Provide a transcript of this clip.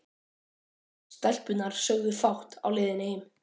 Stelpurnar sögðu fátt á leiðinni heim.